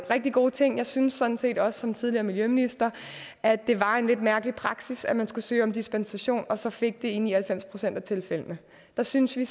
rigtig gode ting jeg synes sådan set også som tidligere miljøminister at det var en lidt mærkelig praksis at man skulle søge om dispensation og man så fik det i ni og halvfems procent af tilfældene der synes vi